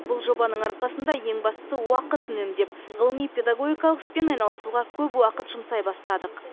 бұл жобаның арқасында ең бастысы уақыт үнемдеп ғылыми педагогикалық іспен айналысуға көп уақыт жұмсай бастадық